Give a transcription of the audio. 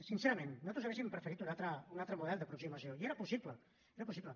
sincerament nosaltres hauríem preferit un altre model d’aproximació i era possible era possible